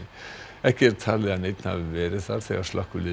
ekki er talið að neinn hafi verið þar þegar slökkvilið